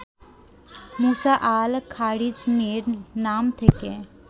মুসা al খারিজমীর নাম থেকে